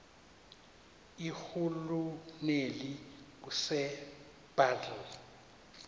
irhuluneli usir bartle